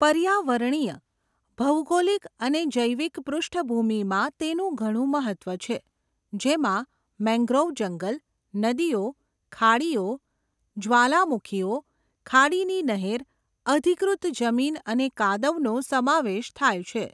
પર્યાવરણીય, ભૌગોલિક અને જૈવિક પુષ્ઠ્ભુમીમાં તેનું ઘણું મહત્ત્વ છે, જેમાં મેંગ્રોવ જંગલ, નદીઓ, ખાડીઓ, જ્વાલામુખીઓ, ખાડીની નહેર, અધિકૃત જમીન અને કાદવનો સમાવેશ થાય છે.